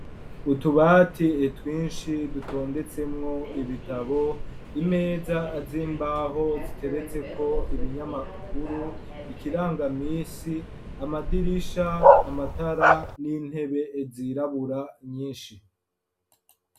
Utubati twinshi dutondetsemwo ibitabo imeza z'imbaho ziteretse ko ibinyamakuru ikirangamisi amadirisha amatara n'intebe zirabura nyinshi.